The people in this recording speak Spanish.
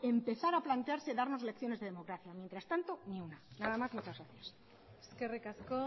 empezar a plantearse darnos lecciones de democracia mientras tanto ni una nada más muchas gracias eskerrik asko